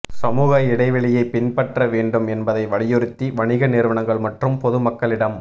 சமூக இடைவெளியை பின்பற்ற வேண்டும் என்பதை வலியுறுத்தி வணிக நிறுவனங்கள் மற்றும் பொதுமக்களிடம்